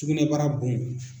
Tugunɛbara bon